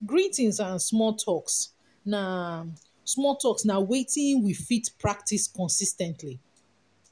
greetings and small talks na small talks na wetin we fit practice consis ten tly